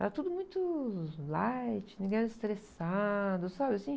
Era tudo muito light, ninguém era estressado, sabe assim?